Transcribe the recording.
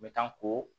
N bɛ taa ko